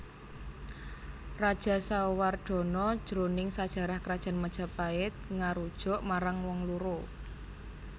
Rajasawardhana jroning sajarah Krajan Majapait ngarujuk marang wong loro